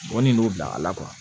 Mɔnni n'o bila a la